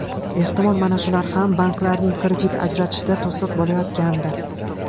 Ehtimol, mana shular ham banklarning kredit ajratishida to‘siq bo‘layotgandir.